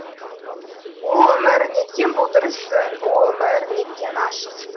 о өмір неткен бұлдырсың о өмір неткен ашықсың